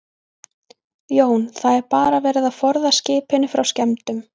Jón: Það er bara verið að forða skipinu frá skemmdum?